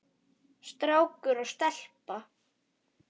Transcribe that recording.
Strákur og stelpa.